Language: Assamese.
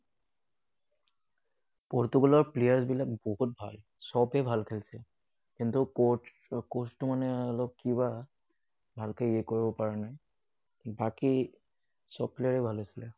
পৰ্তুগালৰ players বিলাক বহুত ভাল। সবেই ভাল খেলিছে। কিন্তু coach coach টো মানে অলপ কিবা, ভালকৈ ইয়ে কৰিব পৰা নাই, বাকী সব player এ ভাল আছিলে।